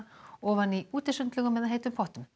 ofan í útisundlaugum eða heitum pottum